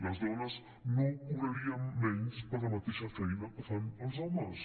les dones no cobraríem menys per la mateixa feina que fan els homes